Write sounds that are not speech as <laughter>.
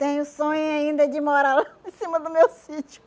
Tenho sonho ainda de morar lá em cima do meu sítio. <laughs>